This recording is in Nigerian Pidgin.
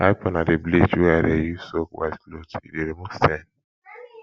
hypo na di bleach wey i dey use soak white cloth e dey remove stain